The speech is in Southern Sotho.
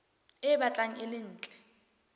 e batlang e le ntle